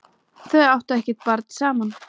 Þau áttu ekkert barn saman.